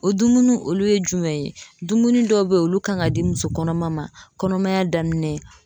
O dumuni olu ye jumɛn ye dumuni dɔw bɛ yen olu kan ka di muso kɔnɔma ma kɔnɔmaya daminɛ.